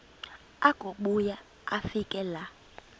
akubuya afike laa